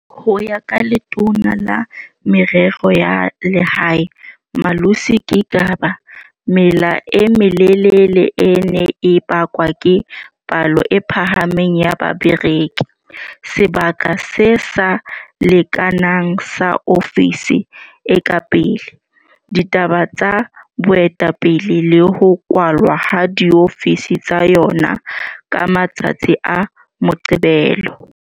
Ho ya ka Letona la Merero ya Lehae, Malusi Gigaba mela e melelele e ne e bakwa ke palo e phahameng ya bareki, sebaka se sa lekanang sa ofisi e ka pele, ditaba tsa boetapele le ho kwalwa ha diofisi tsa yona ka matsatsi a Moqebelo.